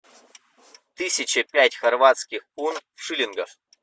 тысяча пять хорватских кун в шиллингах